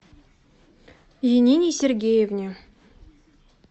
янине сергеевне